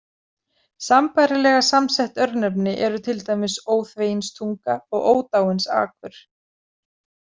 Sambærilega samsett örnefni eru til dæmis Óþveginstunga og Ódáinsakur.